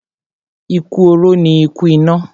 Ikú oró ni ikú ìná.